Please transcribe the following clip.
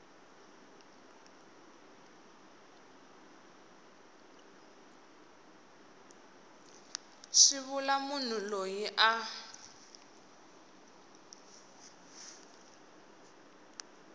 swi vula munhu loyi a